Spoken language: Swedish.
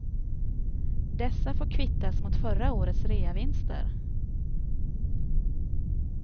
Dessa får kvittas mot förra årets reavinster.